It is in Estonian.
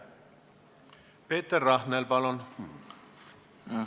Peeter Rahnel, palun!